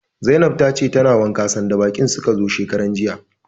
Zainab tace tana wanka sanda baƙin suka zo shekaranjiya.